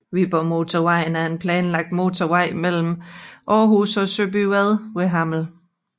Viborgmotorvejen er en planlagt motorvej mellem Aarhus og Søbyvad ved Hammel